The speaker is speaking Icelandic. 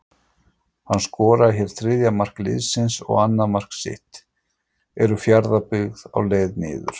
HANN SKORAR HÉR ÞRIÐJA MARK LIÐSINS OG ANNAÐ MARK SITT, ERU FJARÐABYGGÐ Á LEIÐ NIÐUR???